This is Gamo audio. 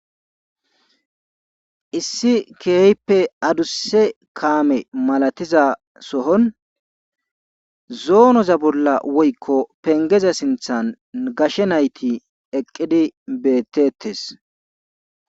Issi keehippe adussa kaame malatiza sohon zoonaza bolla woykko pengeza sinththan gashe nayti eqqidi betetees.